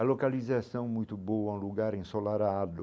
A localização é muito boa, um lugar ensolarado.